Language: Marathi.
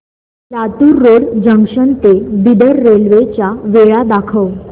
लातूर रोड जंक्शन ते बिदर रेल्वे च्या वेळा दाखव